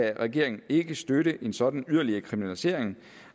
at regeringen ikke kan støtte en sådan yderligere kriminalisering